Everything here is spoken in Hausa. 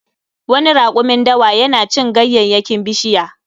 Wani rakumin dawa yana cin ganyayyakin bishiya